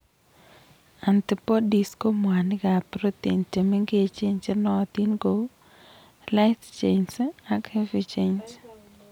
Antibodies ko mwanikab protein chemengech chenootin kou light chains ak heavy chains.